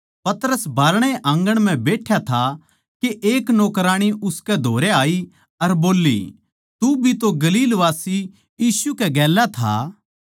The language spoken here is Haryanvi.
पतरस बाहरणै आँगण म्ह बैठ्या था के एक नौकराणी उसकै धोरै आई अर बोल्ली तू भी तो गलीलवासी यीशु कै गेल्या था